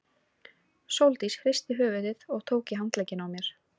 Sóldís hristi höfuðið og tók í handlegginn á mér.